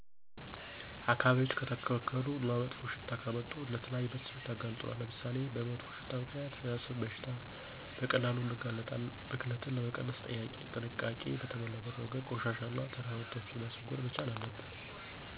አካባቢዎች ከተበከሉ እና መጥፎ ሽታ ካመጡ ለተለያዩ በሽታዎች ያጋልጡናል። ለምሳሌ፦ በመጥፎ ሽታ ምክንያት ለአሰም በሽታ በቀላሉ እንጋለጣለን። ብክለትን ለመቀነስ ጥንቃቄ በተሞላበት መንገድ ቆሻሻን እና ተረፈምርቶችን ማስወገድ መቻል አለብን።